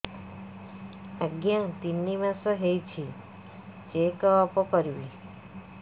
ଆଜ୍ଞା ତିନି ମାସ ହେଇଛି ଚେକ ଅପ କରିବି